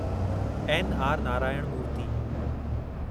N R Narayana Murthy